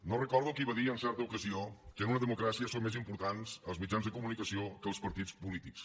no recordo qui va dir en certa ocasió que en una democràcia són més importants els mitjans de comunicació que els partits polítics